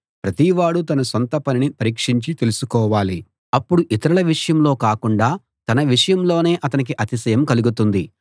ప్రతివాడూ తన సొంత పనిని పరీక్షించి తెలుసుకోవాలి అప్పుడు ఇతరుల విషయంలో కాకుండా తన విషయంలోనే అతనికి అతిశయం కలుగుతుంది